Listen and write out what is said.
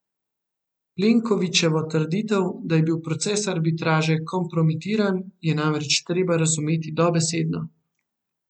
Plenkovićevo trditev, da je bil proces arbitraže kompromitiran, je namreč treba razumeti dobesedno.